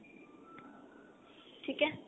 ਠੀਕ ਹੈ